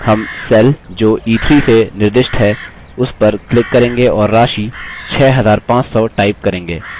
हम cell जो e3 से निर्दिष्ट है उस पर click करेंगे और राशि 6500 type करेंगे